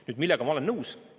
Nüüd, millega ma olen nõus?